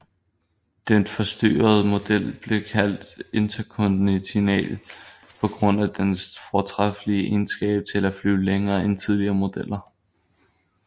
Den forstørrede model blev kaldt Intercontinental på grund af dens fortræffelige egenskab til at flyve længere end tidligere modeller